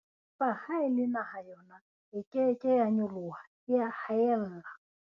Empa ha e le naha yona e ke ke ya nyolohae a haella.